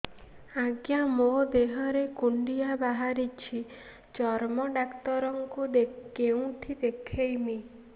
ଆଜ୍ଞା ମୋ ଦେହ ରେ କୁଣ୍ଡିଆ ବାହାରିଛି ଚର୍ମ ଡାକ୍ତର ଙ୍କୁ କେଉଁଠି ଦେଖେଇମି